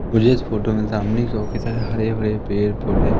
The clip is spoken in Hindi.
मुझे इस फोटो में सामने काफी सा हरे भरे पेड़ पौधे--